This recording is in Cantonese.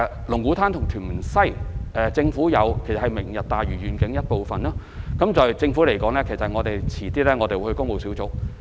龍鼓灘和屯門西是"明日大嶼願景"的一部分，政府稍後會將相關文件交予工務小組委員會討論。